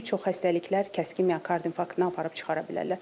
Bir çox xəstəliklər kəskin miokard infarktına aparıb çıxara bilərlər.